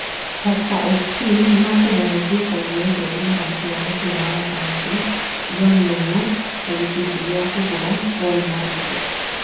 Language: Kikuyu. (KBC Sorts) Tusker FC nĩ mekumave Thika United muthaki wa mũbira wa gatagatĩ John Ndungũ ta gĩcunjĩ gĩa kũgũra Paul Mariga